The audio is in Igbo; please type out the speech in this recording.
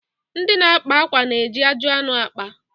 Ndị na-akpa akwa na-eji ajị anụ akpa.